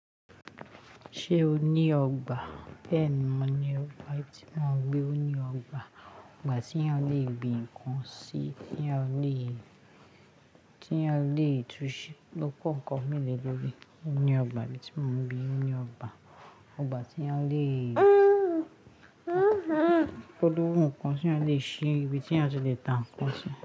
Ṣé o ní ọgbà? Bẹ́ẹ̀ni mo ní ọgbà tí mo ń gbé. Ó ní ọgbà, ọgbà tí yan lè gbin nǹkan sí, tí yan lè túnṣe lọ́kọ̀ọ̀kan mélòó lóde. Ó ní ọgbà mi tí mo ń gbé, ó ní ọgbà, ọgbà tí yan lè fọdún nǹkan, tí a lè ṣe ibi tí a ti lè ta nǹkan sí.